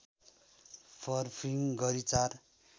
फर्पिङ गरी ४